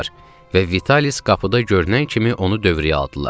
Və Vitalis qapıda görünən kimi onu dövrəyə aldılar.